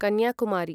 Kanyakumari